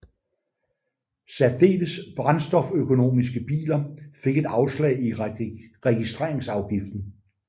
Særdeles brændstoføkonomiske biler fik et afslag i registreringsafgiften